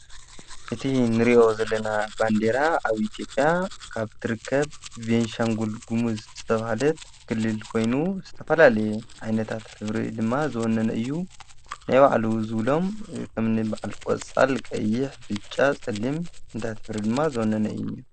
እቲ ንርእዮ ዘለና ባንዴራ ኣብ ኢትዮጵያ ካብ ትርከብ ቤንሻንጕል ግሙዝ ዝተብሃለት ክልል ኮይኑ ዝተፈላሌየ ዓይነታት ሕብሪ ድማ ዘወነነ እዩ። ናይባዕሉ ዝብሎም ከም ኒብዓል ቈጻል ፣ቀይሕ፣ ብጫ፣ ጸሊም ሕብርታት ድማ ዘወነነ እዩ ።